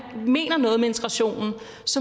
mener noget med integrationen